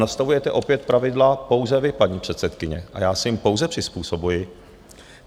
Nastavujete opět pravidla pouze vy, paní předsedkyně, a já se jim pouze přizpůsobuji.